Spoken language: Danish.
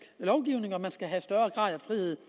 lovgivning skal have større grad af frihed